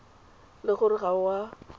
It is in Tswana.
le gore ga o a